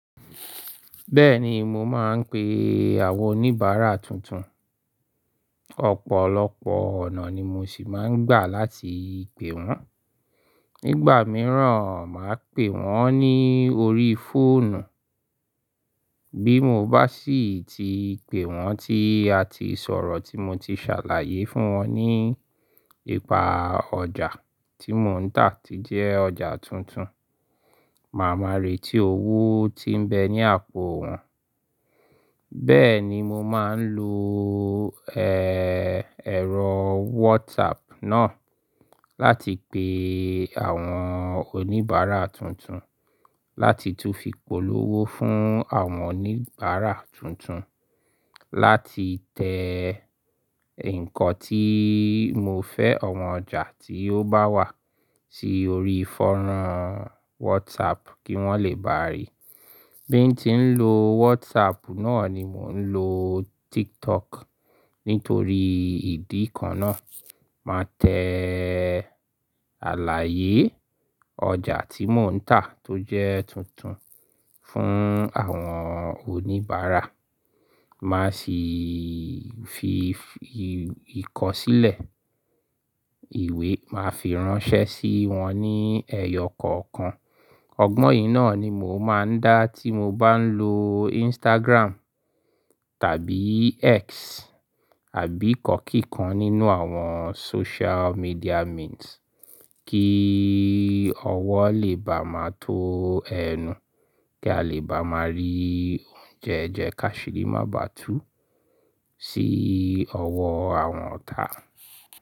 Mo máa ń pè àwọn oníbàrà tuntun ọ̀pọ̀lọpọ̀ ọ̀nà ni mo sì máa ń gbà láti pè wọ́n. Nígbà mìí, màá pè wọ́n lórí fóònù. Bí mo bá sì ti pè wọ́n, tí a ti sọ̀rọ̀, tí motí ṣàlàyé fún wọn nípa ọjà tí mo ń tà, tó jẹ́ ọjà tuntun, màá máa retí owó tí ń bẹ ní àpò wọn. Bẹ́ẹ̀ni, mo máa ń lo ẹ̀rọ whatsapp náà, láti pè àwọn oníbàrà tuntun, láti tún fi polówó fún àwọn oníbàrà tuntun, nkán tí mo fẹ́ àwọn ọjà tí ó bá wà sí orí fánrán WhatsApp kí wọ́n lè baa rí. Bí n tí ń lo Whatsapp náà ni mò ń lo Tiktok nítorí ìdí kan náà màá tẹ àlàyé ọjà tí mò ń tà tó jẹ́ tuntun fún àwọn oníbàárà màá sì fi–i ìkọsílẹ̀ ìwé màá fi ránṣẹ́ sí wọn ní ẹyọ kọ̀ọ̀kan, ọgbọ̀n yíì náà ni mò máa ń dá nígbà tí mo bá ń lo Instagram tàbí X, àbí ìkankíkan nínú àwọn social media means íi ọwọ́ lè baà má tó ẹnu kí a lè bá máa rí oúnjẹ jẹ kí àṣírí má baà tú sí ọwọ́ àwọn ọ̀tá.